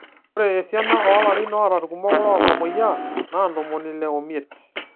Ore esiana oolarin oota ilkumok loontamoyia naa ntomoni ile omiet.